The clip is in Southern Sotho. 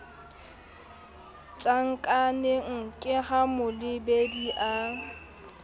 tjhankaneng ke ha molebedi a